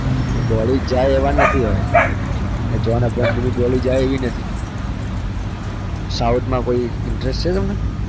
body જાય એવા નથી હવે જોન અબ્રાહમની body જાય એવી નથી south માં કોઈ interest છે તમને?